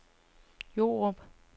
Jordrup